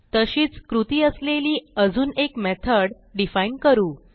तशीच कृती असलेली अजून एक मेथड डिफाईन करू